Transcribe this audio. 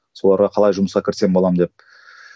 соларға қалай жұмысқа кірсем боламын деп